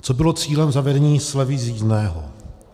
Co bylo cílem zavedení slevy z jízdného.